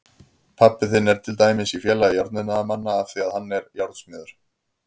Pabbi þinn er til dæmis í Félagi járniðnaðarmanna af því að hann er járnsmiður.